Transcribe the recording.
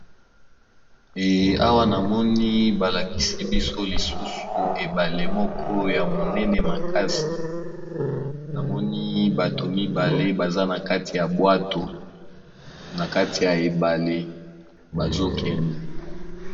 Eza ebale ya munene na batu mibale baza na kati ya bwato bazo kende.